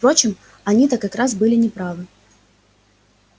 впрочем они-то как раз были не правы